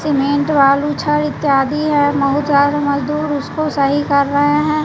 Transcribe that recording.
Cement बालू छर इत्यादि है बहुत सारे मजदूर उसको सही कर रहे हैं।